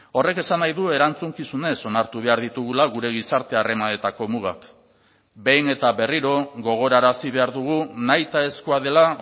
horrek esan nahi du erantzukizunez onartu behar ditugula gure gizarte harremanetako mugak behin eta berriro gogorarazi behar dugu nahitaezkoa dela